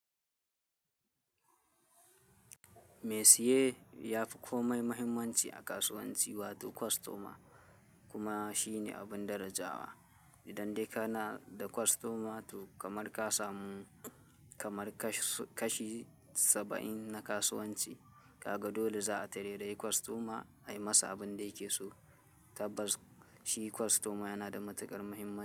"Mai saye ya fi komai muhimmanci a kasuwanci wato costumer kuma shine abin darajawa. Idan dai kana da costumer to kamar ka samu kamar kashi saba'in na kasuwanci. Kaga dole za a tarairayi costumer ai masa abin da yake so. Tabbas shi costumer yana da matukar muhimmanci."